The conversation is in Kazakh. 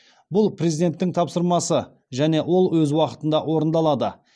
бұл президенттің тапсырмасы және ол өз уақытында орындалады